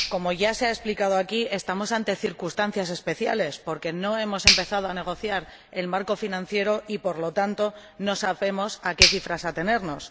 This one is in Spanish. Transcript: Como ya se ha explicado aquí, estamos ante circunstancias especiales, porque no hemos empezado a negociar el marco financiero y, por lo tanto, no sabemos a qué cifras atenernos.